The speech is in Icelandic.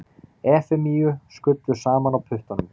Efemíu skullu saman á puttanum.